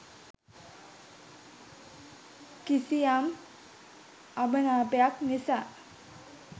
කිසියම් අමනාපයක් නිසා